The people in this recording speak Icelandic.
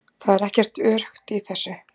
Það er ekkert öruggt í þessu